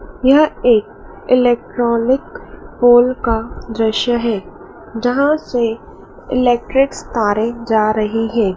यह एक electronic hall का दृश्य है जहां से इलेक्ट्रिक तारे जा रही हैं।